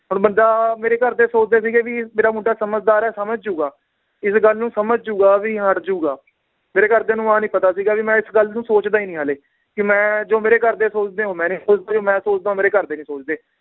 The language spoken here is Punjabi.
ਹੁਣ ਬੰਦਾ ਮੇਰੇ ਘਰਦੇ ਸੋਚਦੇ ਸੀਗੇ ਵੀ ਮੇਰਾ ਮੁੰਡਾ ਸਮਝਦਾਰ ਏ ਸਮਝ ਜਾਊਗਾ, ਇਸ ਗੱਲ ਨੂੰ ਸਮਝ ਜਾਊਗਾ ਵੀ ਹੱਟ ਜਾਊਗਾ ਮੇਰੇ ਘਰਦਿਆਂ ਨੂੰ ਆਹ ਨੀ ਪਤਾ ਸੀਗਾ ਵੀ ਮੈ ਇਸ ਗੱਲ ਨੂੰ ਸੋਚਦਾ ਈ ਨੀ ਹਾਲੇ ਕਿ ਮੈ ਜੋ ਮੇਰੇ ਘਰਦੇ ਸੋਚਦੇ ਏ ਉਹ ਮੈ ਨੀ ਸੋਚਦਾ ਜੋ ਮੈ ਸੋਚਦਾਂ ਉਹ ਮੇਰੇ ਘਰਦੇ ਨੀ ਸੋਚਦੇ